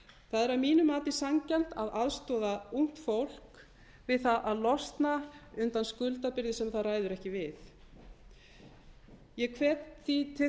það er að mínu mati sanngjarnt að aðstoða ungt fólk við það að losna undan skuldabyrði sem það ræður ekki við ég hvet því til